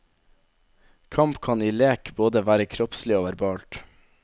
Kamp kan i lek både være kroppslig og verbalt.